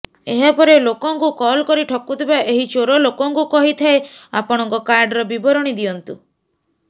ଏହାପରେ ଲୋକଙ୍କୁ କଲ୍ କରି ଠକୁଥିବା ଏହି ଚୋର ଲୋକଙ୍କୁ କହିଥାଏ ଆପଣଙ୍କ କାର୍ଡର ବିବରଣୀ ଦିଅନ୍ତୁ